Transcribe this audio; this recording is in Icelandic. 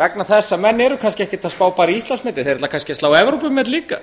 vegna þess að menn eru kannski ekkert að spá bara í íslandsmetið þeir ætla kannski að slá evrópumet líka